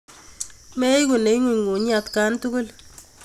Meweku neing'unyng'unyi atkan tukul.